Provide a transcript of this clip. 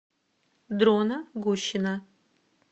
дрона гущина